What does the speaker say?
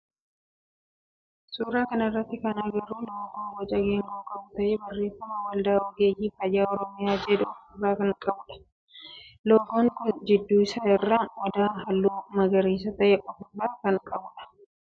Suuraa kana irratti kan agarru loogoo boca geengoo qabu ta'ee barreeffama waldaa ogeeyyii fayyaa oromiyaa jedhu of irraa kan qabudha. Loogoon kun gidduu isaa irraa odaa halluu magariisa ta'e of irraa qaba.